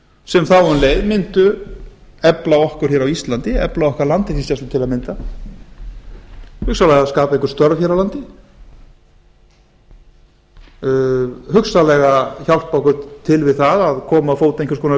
sem þá um leið myndu efla okkur hér á íslandi efla okkar landhelgisgæslu til dæmis hugsanlega skapa einhver störf hér á landi hugsanlega hjálpa okkur til við að koma á fót einhvers konar